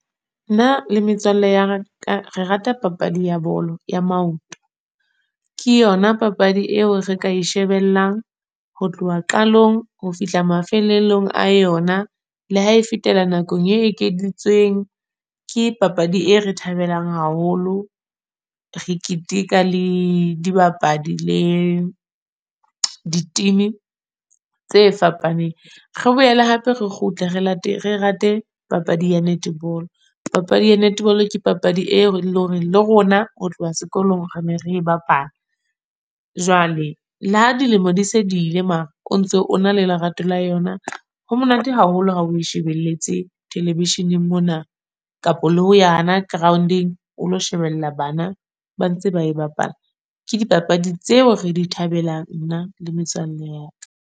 Nna le metswalle ya ka, re rata papadi ya bolo ya maoto. Ke yona papadi eo re ka e shebellang ho tloha qalong ho fihla mafelelong a yona, le ha e fetela nakong e ekeditsweng. Ke papadi e re thabelang haholo. Re keteka le dibapadi, le di-team, tse fapaneng. Re boele hape re kgutle re re rate papadi ya netball. Papadi ya netball ke papadi eo le hore le rona ho tloha sekolong re ne re e bapala. Jwale le ha dilemo di se dile, mara o ntso o na le lerato la yona. Ho monate haholo ha o shebeletse television-eng mona. Kapa le ho yana ground-, eng, o lo shebella bana ba ntse ba e bapala. Ke dipapadi tseo re di thabelang nna le metswalle ya ka.